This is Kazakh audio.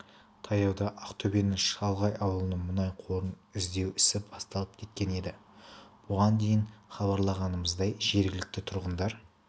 таяуда ақтөбенің шалғай ауылынан мұнай қорын іздеу ісі басталып кеткен еді бұған дейін хабарлағанымыздай жергілікті тұрғындар